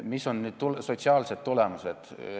Mis on sotsiaalsed tulemused?